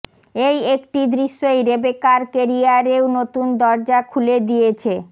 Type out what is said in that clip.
এই একটি দৃশ্যই রেবেকার কেরিয়ারেও নতুন দরজা খুলে দিয়েছে